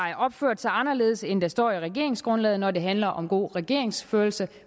opført sig anderledes end der står i regeringsgrundlaget når det handler om god regeringsførelse